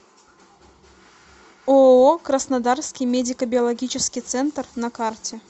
ооо краснодарский медико биологический центр на карте